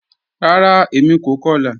Ràrá, èmi kò kọ̀lá